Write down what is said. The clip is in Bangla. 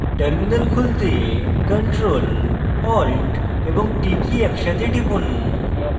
terminal খুলতে ctrl alt এবং t কী একসাথে টিপুন